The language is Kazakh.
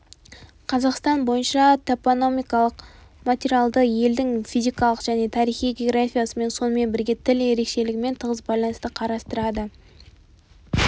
қазақстан бойынша топономикалық материалды елдің физикалық және тарихи географиясымен сонымен бірге тіл ерекшелігімен тығыз байланысты қарастырады